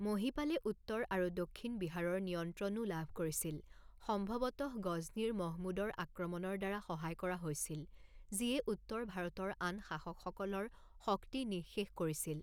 মহিপালে উত্তৰ আৰু দক্ষিণ বিহাৰৰ নিয়ন্ত্ৰণও লাভ কৰিছিল, সম্ভৱতঃ গজনীৰ মহমুদৰ আক্ৰমণৰ দ্বাৰা সহায় কৰা হৈছিল, যিয়ে উত্তৰ ভাৰতৰ আন শাসকসকলৰ শক্তি নিঃশেষ কৰিছিল।